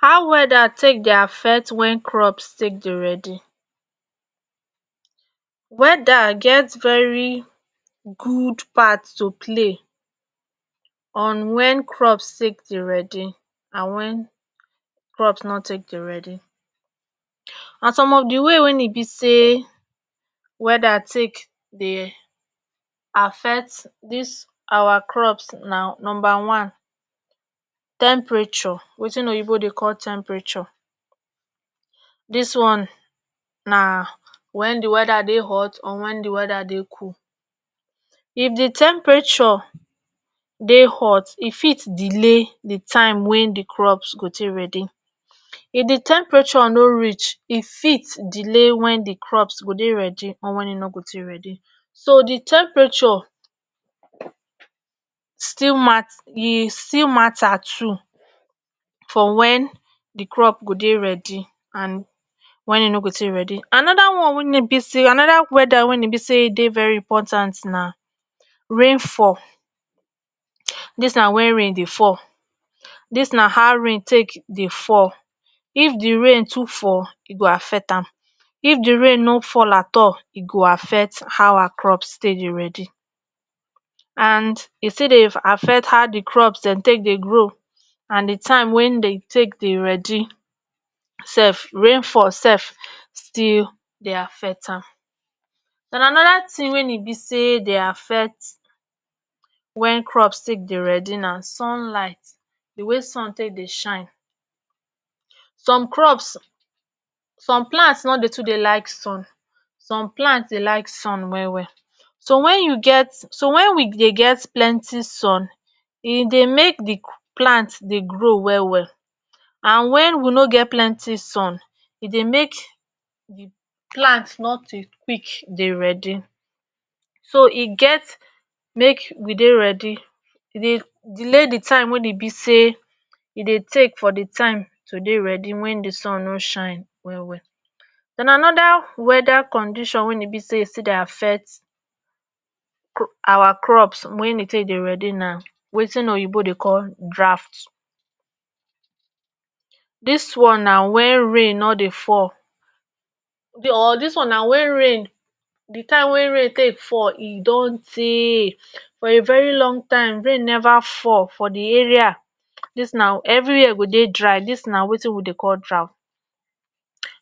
how weather take dey affect wen crops take dey ready weather get very good part to play on wen crops take dey ready and wen crops nor take dey ready and some of di way wein e be say weather take dey affect dis our crops na numba one temperature wetin oyibo dey call temperature dis one na wen di weather dey hot or wen dey weather dey cold if di temperature dey hot e fit delay di time wey di crops go tey ready if di temperature no reach e fit delay wen di crops go dey ready or wen e nor go tey ready so di temperature still mat e still matter too for wen di crop go dey ready and wen e nor go tey ready and anoda one wein e be say anoda weather wein e be say dey very important na rainfall dis na wen rain dey fall dis na how rain take dey fall if di rain too fall e go affect am if di rain no fall at all e go affect awa crops take dey ready and e still dey affect how di crops den take dey grow and di time wein de take dey ready sef rainfall sef still dey affect am and anoda tin wein e be say dey affect wen crops take dey ready na sunlight di way sun take dey shine some crops some plants nor dey too dey like sun some plants dey like sun well well so wen you get so wen we get plenty sun e dey make di plants dey grow well well and wen we no get plenty sun e dey make plants nor dey quick dey ready so e get make we dey ready e dey delay di time wein e be say e dey take for di time to dey ready wen di sun no shine well well den anoda weather condition wein e be say e still dey affect cru awa crops wein dey take dey ready na wetin oyinbo dey call draft dis one na wen rain nor dey fall or dis one na wen rain di time wey rain take fall e don tey for a very long time rain never fall for di area dis na everywhere go dey dry dis na wetin we dey call draft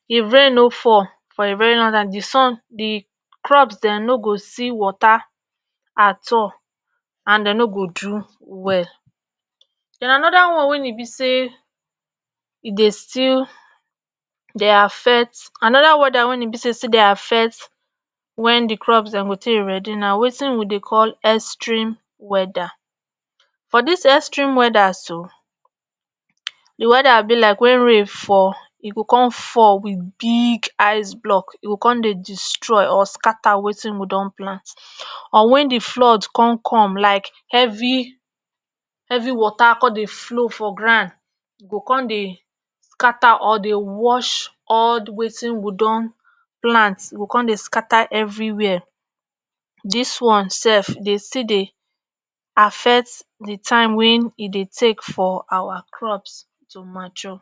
if rain no fall for a very long time di sun di crops den no go see water at all and de nor go do well den anoda one wein e be say e dey still dey affect anoda weather wein e be say e still dey affect wen di crops den go take ready na wetin we dey call extreme weather for this extreme weather so di weather be like wen rain fall e go come fall wit big Ice block e go con dey destroy or scatter wetin we don plant or wen di flood con com like heavy heavy water con dey flow for grand e go con dey scatter or dey wash all wetin we don plant e go con dey scatter everywhere dis one sef e still dey affect di time wein e dey take for awa crops to mature